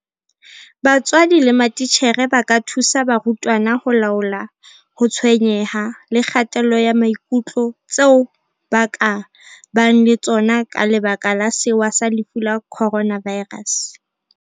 BATSWADI LE MATITJHERE ba ka thusa barutwana ho laola ho tshwenyeha le kgatello ya maikutlo tseo ba ka bang le tsona ka lebaka la sewa sa lefu la Coronavirus.